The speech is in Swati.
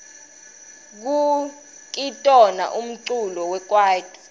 kukitona umculo wekwaito